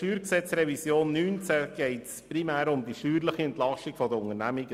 Bei der StG-Revision 2019 geht es primär um die steuerliche Entlastung der Unternehmungen.